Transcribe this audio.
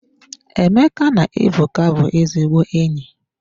Emeka na Ebuka bụ ezigbo enyi.